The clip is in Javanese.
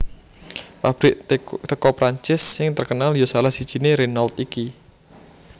Pabrik teko Prancis sing terkenal yo salah sijine Renault iki